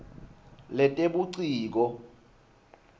letebuciko